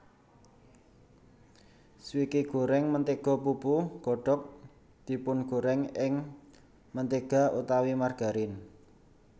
Swike goreng mentega pupu kodok dipungorèng ing mentega utawi margarin